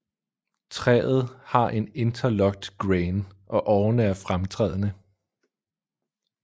Træet har en interlocked grain og årerne er fremtrædende